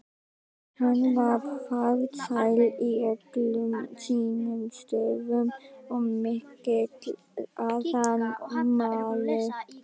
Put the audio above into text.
Hann var farsæll í öllum sínum störfum og mikill athafnamaður.